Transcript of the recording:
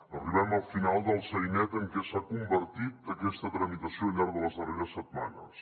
arribem al final del sainet en què s’ha convertit aquesta tramitació al llarg de les darreres setmanes